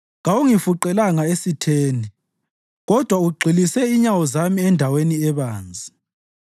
Kawungifuqelanga esitheni kodwa ugxilise inyawo zami endaweni ebanzi.